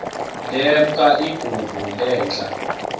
lemk igubu lehl